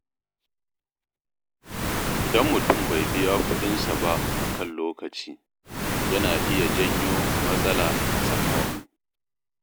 Idan mutum bai biya kuɗinsa ba a kan lokaci, yana iya janyo matsala a tsakani.